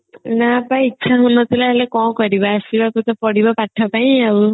ନା ପା ଇଚ୍ଛା ହଉ ନଥିଲା ହେଲେ କଣ କରିବା ଅସବାକୁ ତ ପଡିବ ପାଠ ପାଇଁ ଆଉ